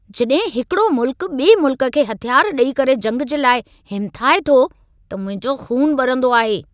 जॾहिं हिकिड़ो मुल्क़ु ॿिए मुल्क़ खे हथियार ॾेई करे जंग जे लाइ हिमिथाए थो, त मुंहिंजो ख़ून ॿरंदो आहे।